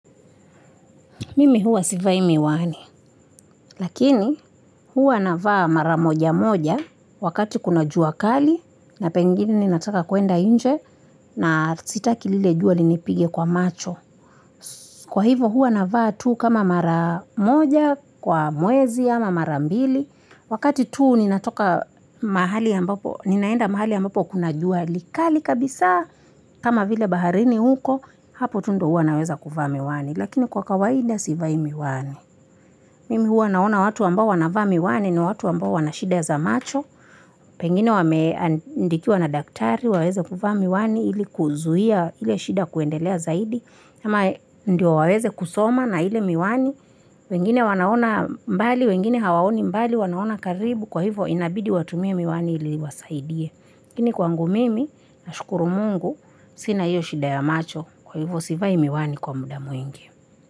Mimi huwa sivai miwani, lakini huwa na vaa mara moja moja wakati kuna jua kali na pengine nataka kuenda inje na sitaki lile jua linipige kwa macho kwa hivo huwa navaa tuu kama mara moja kwa mwezi ama mara mbili wakati tuu ninaenda mahali ambopo kuna jua likali kabisa kama vile baharini huko hapo tu ndio huwa naweza kuvaa miwani lakini kwa kawaida sivai miwani Mimi huwa na naona watu ambao wanavaa miwani ni watu ambao wana shida za macho pengine wameandikiwa na daktari waweze kuvaa miwani ili kuzuhia ile shida kuendelea zaidi ama ndio waweze kusoma na ile miwani pengini wanaona mbali wengine hawaoni mbali wanaona karibu kwa hivo inabidi watumie miwani ili iwasaidie lakini kwangu mimi nashukuru mungu sina hio shida ya macho kwa hivo sivai miwani kwa muda mwingi.